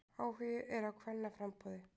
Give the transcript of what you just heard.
Áhugi er á kvennaframboði